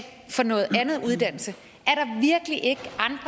for noget andet uddannelse